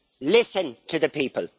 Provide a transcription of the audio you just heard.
Listen to the people.